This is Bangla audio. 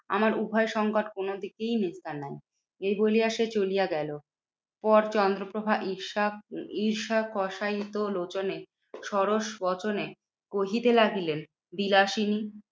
আমার উভয় সংকট কোনদিকেই নিস্তার নেই। এই বলিয়া সে চলিয়া গেলো পর চন্দ্রপ্রভা ঈর্ষা কষায়িত লোচনে সরস বচনে কহিতে লাগিলেন বিলাসিনী,